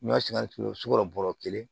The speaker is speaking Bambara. N'a sigarɛti ye sukaro bɔrɔ kelen